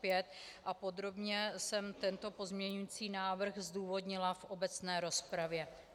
Podrobně jsem tento pozměňovací návrh zdůvodnila v obecné rozpravě.